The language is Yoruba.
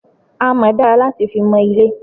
Amọ́ dára láti fi mọ ilé.